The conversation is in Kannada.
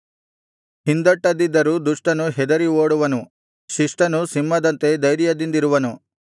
ಹಿಂದಟ್ಟದಿದ್ದರೂ ದುಷ್ಟನು ಹೆದರಿ ಓಡುವನು ಶಿಷ್ಟನು ಸಿಂಹದಂತೆ ಧೈರ್ಯದಿಂದಿರುವನು